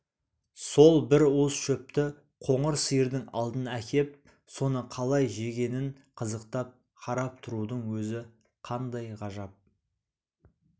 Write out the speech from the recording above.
сол бір уыс шөпті қоңыр сиырдың алдына әкеп соны қалай жегенін қызықтап қарап тұрудың өзі қандай қуаныш